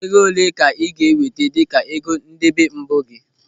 Ego olee ka ị ga-eweta dịka ego ndebe mbụ gị?